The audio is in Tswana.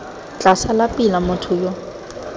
tla sala pila motho yo